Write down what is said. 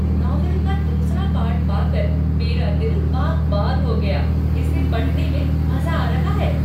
Novel का दूसरा part पाकर मेरा दिल बाग बाग हो गया। इसे पढ़ने में मज़ा आ रहा है।